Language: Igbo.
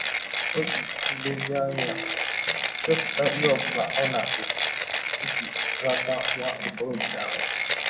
Ọ ji nlezianya chepụta ihe ọ bụla ọ na - ekwụ iji rata nwa ọkọrọbịa ahụ.